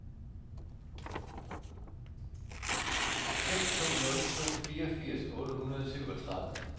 seks to nul to fireogfirs otte hundrede og syvogtredive